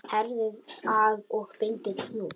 Herðið að og bindið hnút.